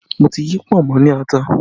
Mo ti yí pọ̀nmọ́ ní ata